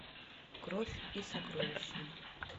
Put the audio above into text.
кровь и сокровища